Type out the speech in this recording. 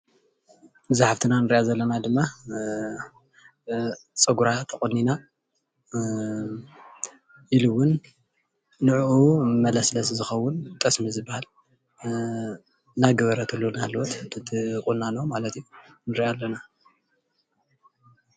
ኣዛ ሓፍትና እንሪአ ዘለና ድማ ፀጉራ ተቆኒና ኢሉ እውን ንዕኡ መለስለሲ ዝከውን ጠስሚ ዝባሃል እናገበረትሉ እናሃለወት እቲ ቁናኖ ማለት እዩ ንሪኣ ኣለና፡፡